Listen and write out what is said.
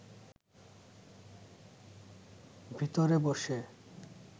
ভিতরে বসে